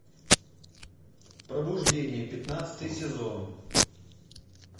пробуждение пятнадцатый сезон